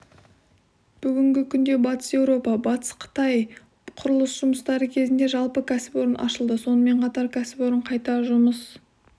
бүгінгі күнде батыс еуропа-батыс қытай құрылыс жұмыстары кезінде жалпы кәсіпорын ашылды сонымен қатар кәсіпорын қайта жұмыс